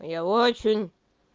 я очень